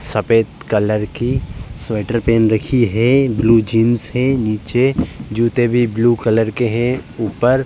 सफ़ेद कलर की स्वेटर पेहेन रखी है ब्लू जीन्स है नीचे जुते भी ब्लू कलर के हैं ऊपर --